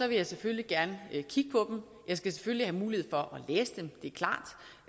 vil jeg selvfølgelig gerne kigge på jeg skal selvfølgelig have mulighed for at læse dem det